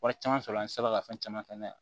Wari caman sɔrɔla an sera ka fɛn caman kɛ n'a ye